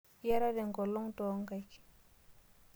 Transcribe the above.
Iyatata engolong too nkaik.